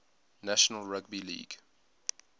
national rugby league